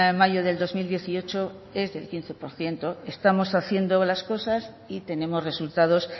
mayo del dos mil dieciocho es del quince por ciento estamos haciendo las cosas y tenemos resultados